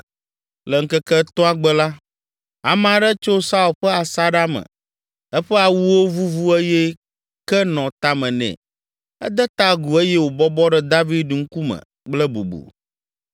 Le ŋkeke etɔ̃a gbe la, ame aɖe tso Saul ƒe asaɖa me eƒe awuwo vuvu eye ke nɔ tame nɛ. Ede ta agu eye wòbɔbɔ ɖe David ŋkume kple bubu.